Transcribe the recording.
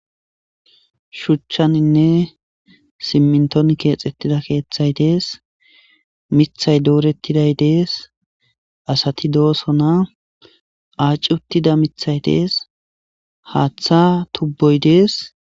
Shuchchaninne simminton keexettida keeththay dees mithay doorettiday dees asati dooso na aaci uttida mithay dees haaththa tubboy dees.